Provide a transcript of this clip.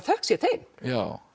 þökk sé þeim já